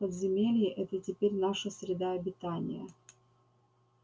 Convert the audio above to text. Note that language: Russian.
подземелье это теперь наша среда обитания